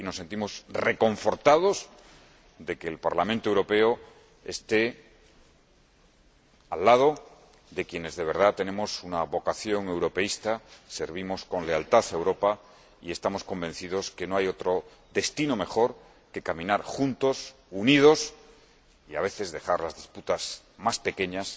cerca. Y nos sentimos reconfortados de que el Parlamento Europeo esté al lado de quienes, de verdad, tenemos una vocación europeísta, servimos con lealtad a Europa y estamos convencidos de que no hay otro destino mejor que caminar juntos, unidos y, a veces, dejar las disputas más pequeñas